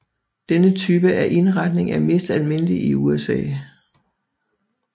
Denne type af indretning er mest almindelig i USA